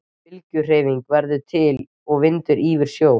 Bylgjuhreyfing verður til er vindur ýfir sjó.